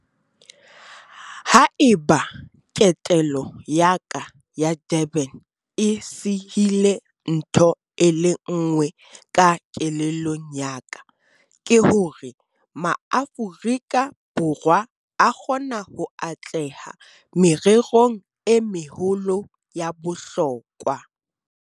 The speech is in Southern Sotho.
Ha eba ketelo ya ka ya Durban e sihile ntho e le nngwe ka kelellong ya ka, ke hore Maaforika Borwa a kgona ho atleha mererong e meholo ya bohlokwa.